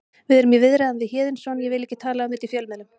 Við erum í viðræðum við Héðinsson ég vil ekki tala um þetta í fjölmiðlum.